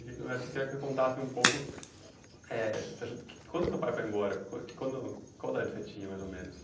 queria que você contasse um pouco, eh acho que quando o seu pai foi embora, qua quando qual idade você tinha mais ou menos?